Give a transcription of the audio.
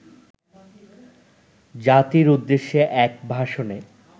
জাতির উদ্দেশ্যে এক ভাষণে